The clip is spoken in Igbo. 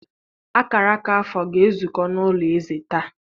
Akara akara afọ ga-ezukọ n'ụlọ eze taa.